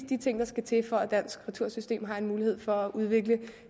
de ting der skal til for at dansk retursystem as har en mulighed for at udvikle